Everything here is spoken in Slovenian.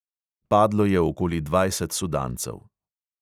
Padlo je okoli dvajset sudancev.